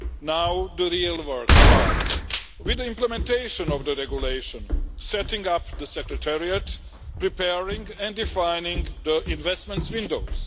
Now the real work starts with the implementation of the regulation, setting up the secretariat, preparing and defining the investments windows.